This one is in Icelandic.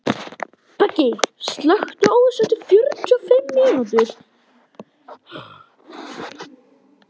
Beggi, slökktu á þessu eftir fjörutíu og fimm mínútur.